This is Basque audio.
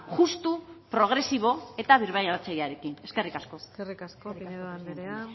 justu progresibo eta birbanatzailearekin eskerrik asko eskerrik asko pinedo anderea